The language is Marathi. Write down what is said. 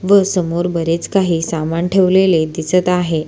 व समोर बरेच काही सामान ठेवलेले दिसत आहे.